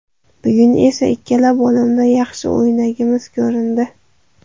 Bugun esa ikkala bo‘limda yaxshi o‘ynaganimiz ko‘rindi.